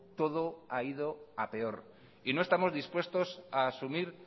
todo ha ido a peor y no estamos dispuestos a asumir